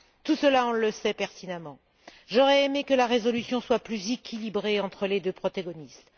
Tout cela, nous le savons pertinemment. J'aurais aimé que la résolution soit plus équilibrée entre les deux protagonistes.